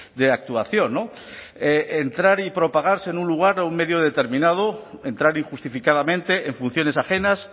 de actuación entrar y propagarse en un lugar o un medio determinado entrar injustificadamente en funciones ajenas